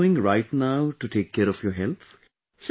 So what are you doing right now to take care of your health